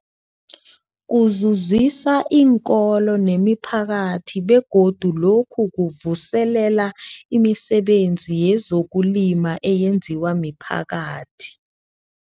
Kuzuzisa iinkolo nemiphakathi begodu lokhu kuvuselela imisebenzi yezokulima eyenziwa miphakathi.